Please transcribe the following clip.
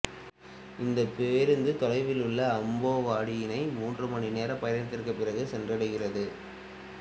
இந்த பேருந்து தொலைவில் உள்ள அம்பேவாடியினை மூன்று மணி நேரப் பயணத்திற்குப் பிறகு சென்றடைகிறது